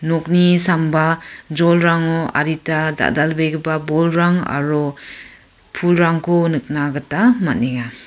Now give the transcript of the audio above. nokni samba jolrango adita dal·dalbegipa bolrang aro pulrangko nikna gita man·enga.